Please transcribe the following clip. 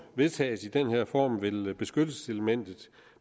vedtages i den her form vil vil beskyttelseselementet